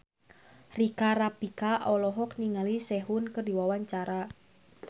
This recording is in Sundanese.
Rika Rafika olohok ningali Sehun keur diwawancara